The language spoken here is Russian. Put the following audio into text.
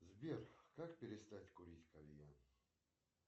сбер как перестать курить кальян